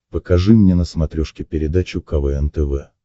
покажи мне на смотрешке передачу квн тв